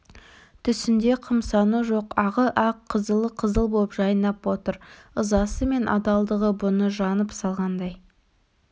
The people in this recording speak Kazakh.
түсінде қымсыну жоқ ағы ақ қызылы қызыл боп жайнап отыр ызасы мен адалдығы бұны жанып салғандай